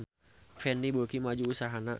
Fendi beuki maju usahana